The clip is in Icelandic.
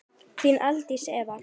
Þín Aldís Eva.